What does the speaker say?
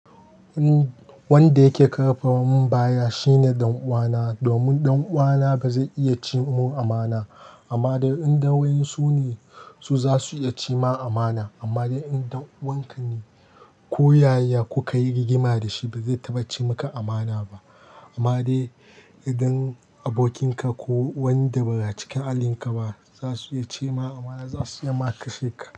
Wanda yake karfawa mun baya shine ɗan uwana. Domin ɗan uwana bazai iya ci mun amana. Amma dai idan waye sune su zasu iya cema amana. Amma dai idan ɗan uwanka ne ko yaya kukayi rigima da shi bazai taɓa cimuka amana ba. Amma dai idan abokinka ko wanda ba a cikin alinka ba zasu iya cema amana, zasu iya ma kashe ka.